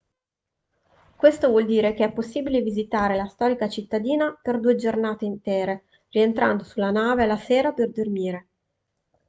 questo vuol dire che è possibile visitare la storica cittadina per due intere giornate rientrando sulla nave alla sera per dormire